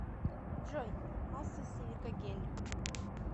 джой масса силикагель